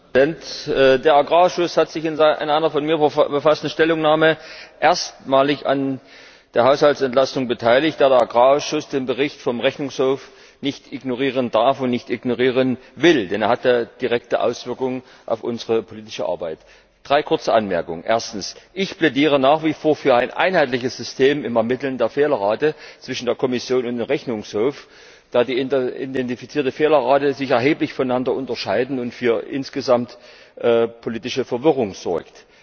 Herr Präsident! Der Agrarausschuss hat sich in einer von mir verfassten Stellungnahme erstmalig an der Haushaltsentlastung beteiligt, da der Agrarausschuss den Bericht vom Rechnungshof nicht ignorieren darf und nicht ignorieren will, denn er hat ja direkte Auswirkungen auf unsere politische Arbeit. Drei kurze Anmerkungen. Erstens Ich plädiere nach wie vor für ein einheitliches System im Ermitteln der Fehlerrate zwischen der Kommission und dem Rechnungshof, da sich die identifizierten Fehlerraten erheblich voneinander unterscheiden und insgesamt für politische Verwirrung sorgen.